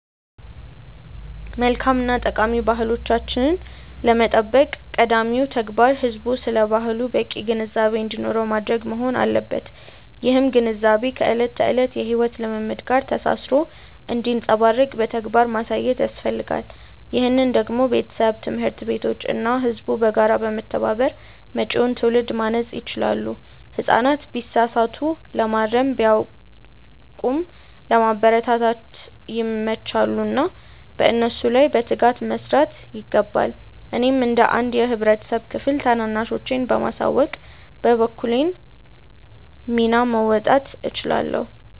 መልካም እና ጠቃሚ ባህሎቻችንን ለመጠበቅ ቀዳሚው ተግባር ህዝቡ ስለ ባህሉ በቂ ግንዛቤ እንዲኖረው ማድረግ መሆን አለበት። ይህም ግንዛቤ ከዕለት ተዕለት የሕይወት ልምምድ ጋር ተሳስሮ እንዲንጸባረቅ በተግባር ማሳየት ያስፈልጋል። ይህንን ደግሞ ቤተሰብ፣ ትምህርት ቤቶች እና ህዝቡ በጋራ በመተባበር መጪውን ትውልድ ማነጽ ይችላሉ። ህጻናት ቢሳሳቱ ለማረም፣ ቢያውቁም ለማበረታታት ይመቻሉና በእነሱ ላይ በትጋት መስራት ይገባል። እኔም እንደ አንድ የህብረተሰብ ክፍል ታናናሾቼን በማሳወቅ የበኩሌን ሚና መወጣት እችላለሁ።